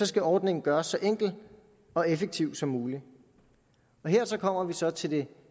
skal ordningen gøres så enkel og effektiv som muligt her kommer vi så til det